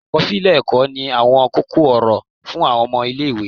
akọsilẹ ẹkọ ní awọn koko-ọrọ fun awọn ọmọ ile-iwe